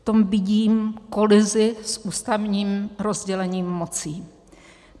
V tom vidím kolizi s ústavním rozdělením mocí.